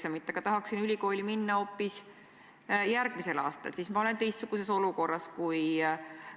Millised on konkreetsed Haridus- ja Teadusministeeriumi plaanid, et nõustada lapsevanemaid, õpetajaid ja õpilasi?